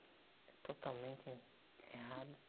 É totalmente errado.